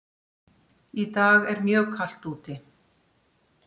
Í dag er mjög kalt úti.